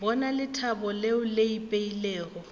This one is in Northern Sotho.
bona lethabo leo le ipeilego